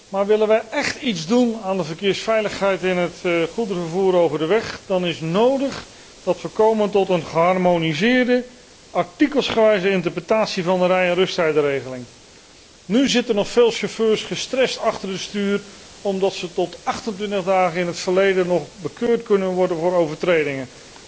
Maar willen wij écht iets doen aan de verkeersveiligheid in het goederenvervoer over de weg, dan is het nodig dat wij komen tot een geharmoniseerde, artikelsgewijze interpretatie van de rij en rusttijdenregeling. Nu zitten nog veel chauffeurs gestrest achter het stuur, omdat zij tot 28 dagen in het verleden nog bekeurd kunnen worden voor overtredingen.